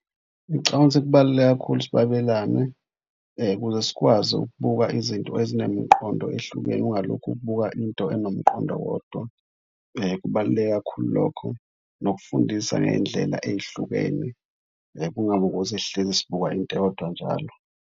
Ngicabanga ukuthi kubaluleke kakhulu, ukuthi babelane ukuze sikwazi ukubuka izinto ezinemqondo ehlukene, ungalokhu ubuka into enomqondo owodwa. Kubaluleke kakhulu lokho. Nokufundisa ngey'ndlela ey'hlukene kungabi ukuthi sihlezi sibuka into eyodwa njalo.